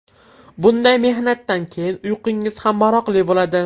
Bunday mehnatdan keyin uyqingiz ham maroqli bo‘ladi.